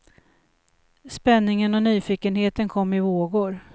Spänningen och nyfikenheten kom i vågor.